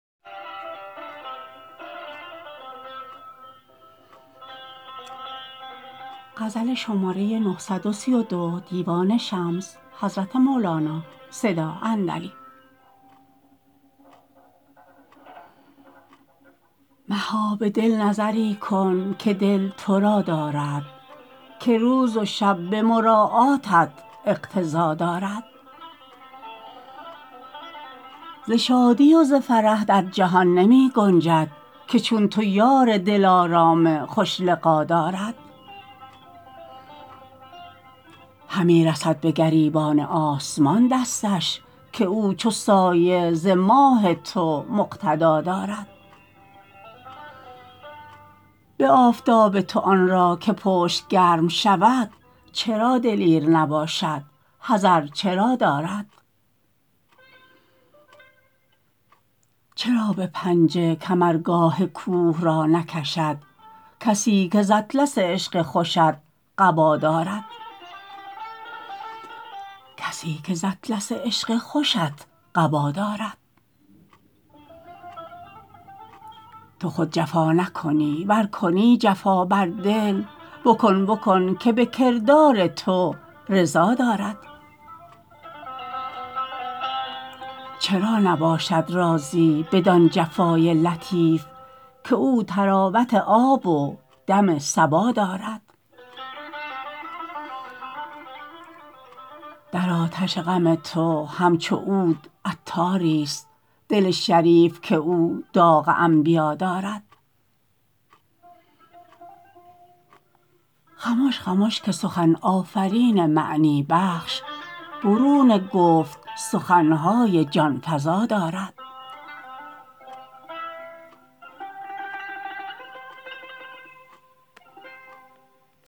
مها به دل نظری کن که دل تو را دارد که روز و شب به مراعاتت اقتضا دارد ز شادی و ز فرح در جهان نمی گنجد که چون تو یار دلارام خوش لقا دارد همی رسد به گریبان آسمان دستش که او چو سایه ز ماه تو مقتدا دارد به آفتاب تو آن را که پشت گرم شود چرا دلیر نباشد حذر چرا دارد چرا به پنجه کمرگاه کوه را نکشد کسی که ز اطلس عشق خوشت قبا دارد تو خود جفا نکنی ور کنی جفا بر دل بکن بکن که به کردار تو رضا دارد چرا نباشد راضی بدان جفای لطیف که او طراوت آب و دم صبا دارد در آتش غم تو همچو عود عطاریست دل شریف که او داغ انبیا دارد خمش خمش که سخن آفرین معنی بخش برون گفت سخن های جان فزا دارد